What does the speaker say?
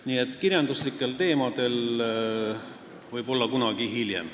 Nii et kirjanduslikel teemadel räägime võib-olla kunagi hiljem.